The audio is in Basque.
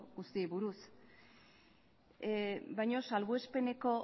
guztiei buruz baina salbuespeneko